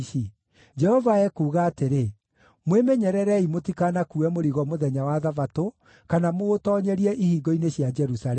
Jehova ekuuga atĩrĩ: Mwĩmenyererei mũtikanakuue mũrigo mũthenya wa Thabatũ, kana mũũtoonyerie ihingo-inĩ cia Jerusalemu.